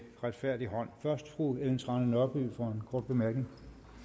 retfærdig hånd først fru ellen trane nørby for en kort bemærkning